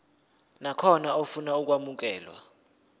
nakhona ofuna ukwamukelwa